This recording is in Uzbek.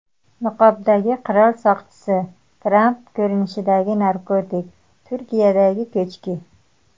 Niqobdagi qirol soqchisi, Tramp ko‘rinishidagi narkotik, Turkiyadagi ko‘chki.